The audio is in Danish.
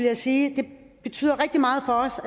jeg sige at det betyder rigtig meget for os